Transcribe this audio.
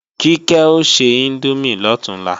Kíkẹ́ o se índómì lọ̀túnla